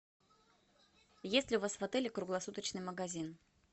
есть ли у вас в отеле круглосуточный магазин